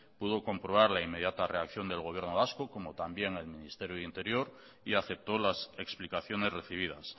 pudo comprobar la inmediata reacción del gobierno vasco como también el ministerio del interior y aceptó las explicaciones recibidas